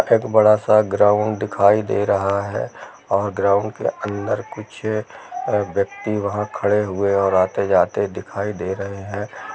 एक बड़ा सा ग्राउन्ड दिखाई दे रहा है और ग्राउन्ड के अंदर कुछ व्यक्ति वहाँ खड़े हुये और आते जाते दिखाई दे रहे है।